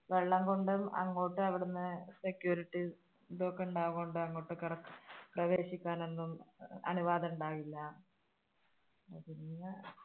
വെള്ളം കൊണ്ട് അങ്ങോട്ട് അവിടെന്നു security അതൊക്കെ ഉണ്ടാകുന്ന കൊണ്ട് അങ്ങോട്ട് കടക്കാൻ പ്രവേശിക്കാൻ ഒന്നും അനുവാദം ഉണ്ടാവില്ല.